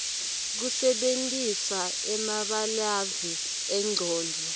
kusebentisa emabalave engcondvo